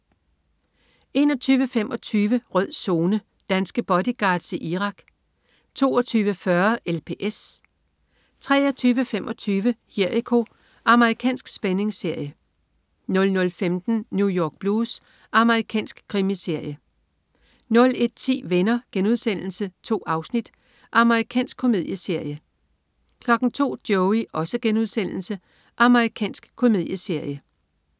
21.25 Rød Zone: Danske bodyguards i Irak 22.40 LPS 23.25 Jericho. Amerikansk spændingsserie 00.15 New York Blues. Amerikansk krimiserie 01.10 Venner.* 2 afsnit. Amerikansk komedieserie 02.00 Joey.* Amerikansk komedieserie